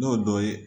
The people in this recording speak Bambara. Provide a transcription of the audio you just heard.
N'o dɔ ye